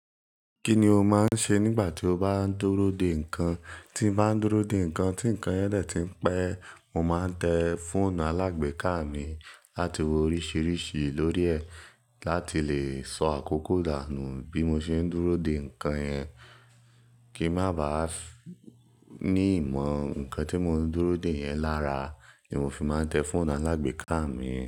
Kí ni o máa ń ṣe nígbà tí o bá ń dúró de nǹkan? Tí m bá ń dúró de nǹkan tí nǹkan yẹn dẹ̀ tí ń pẹ́, mo máa ń tẹ fọ́ọ̀nù alágbèéká mi láti wo oríṣiríṣi lórí ẹ̀ láti lè sọ àkókò dànù bí mo ṣe ń dúró de nǹkan yẹn. Kíì má baà ní ìmọ̀ nǹkan tí mo ń dúró de yẹn lára ni mo fi máa ń tẹ fọ́ọ̀nù alágbèéká mi.